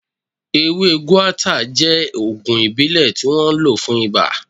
Ewé guata jẹ́ ògùn ìbílẹ̀ tí wọ́n ń lò fún iba